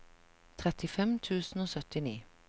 trettifem tusen og syttini